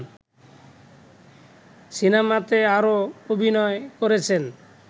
সিনেমাতে আরও অভিনয় করেছেন